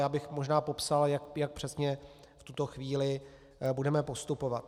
Já bych možná popsal, jak přesně v tuto chvíli budeme postupovat.